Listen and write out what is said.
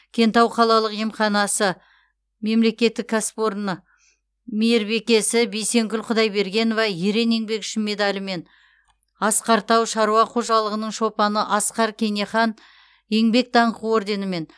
кентау қалалық емханасы мемлекеттік кәсіпорны мейірбикесі бейсенкүл құдайбергенова ерен еңбегі үшін медалімен асқар тау шаруа қожалығының шопаны асқар кенехан еңбек даңқы орденімен